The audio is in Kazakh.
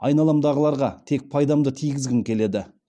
айналамдағыларға тек пайдамды тигізгім келеді